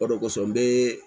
O de kosɔn n be